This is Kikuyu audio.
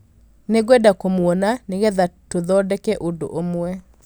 Nĩngwenda kũmuona nĩgetha tũthondeke ũndũ ũmwe